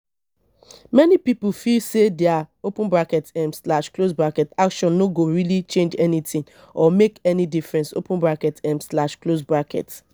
many pipo feel sey their open bracket um slash close bracket action no go really change anything or make any difference open bracket um slash close bracket